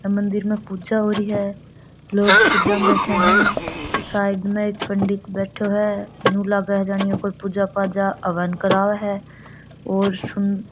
मंदिर में पूजा हो रही है लोग पूजा में बैठा ही साइड में एक पंडित बैठयो है यू लागे ये कोई पूजा पाजा हवन करावे है और --